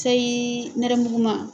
Sayi nɛrɛmuguma.